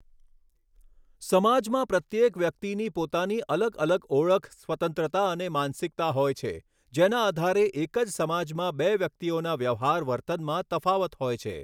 સમાજમાં પ્રત્યેક વ્યકિતની પોતાની અલગ અલગ ઓળખ સ્વતંત્રતા અને માનસિકતા હોય છે જેના આધારે એક જ સમાજમાં બે વ્યકિતઓના વ્યવહાર વર્તનમાં તફાવત હોય છે.